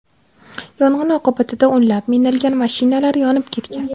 Yong‘in oqibatida o‘nlab minilgan mashinalar yonib ketgan.